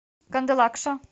кандалакша